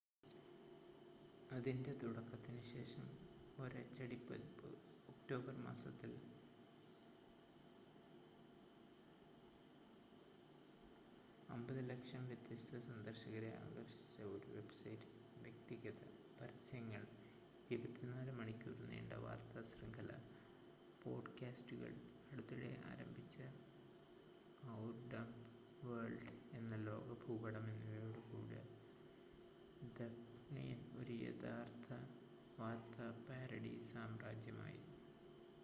അതിൻ്റെ തുടക്കത്തിന് ശേഷം ഒരച്ചടി പതിപ്പ് ഒക്ടോബർ മാസത്തിൽ 5,000,000 വ്യത്യസ്ത സന്ദർശകരെ ആകർഷിച്ച ഒരു വെബ്സൈറ്റ് വ്യക്തിഗത പരസ്യങ്ങൾ 24 മണിക്കൂർ നീണ്ട വാർത്താ ശൃംഖല പോഡ്കാസ്റ്റുകൾ അടുത്തിടെ ആരംഭിച്ച ഔർ ഡംബ് വേൾഡ് എന്ന ലോക ഭൂപടം എന്നിവയോട് കൂടി ദി ഒനിയൻ ഒരു യഥാർത്ഥ വാർത്താ പാരഡി സാമ്രാജ്യമായി